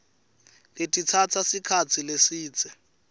letitsatsa sikhatsi lesidze